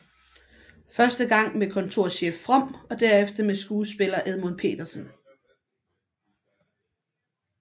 Første gang med kontorchef From og derefter med skuespiller Edmund Petersen